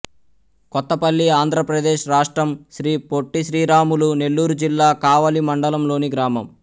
కొత్తపల్లి ఆంధ్ర ప్రదేశ్ రాష్ట్రం శ్రీ పొట్టి శ్రీరాములు నెల్లూరు జిల్లా కావలి మండలం లోని గ్రామం